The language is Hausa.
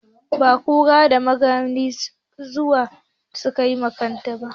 Da kura na maganin zawo da tayi ma kanta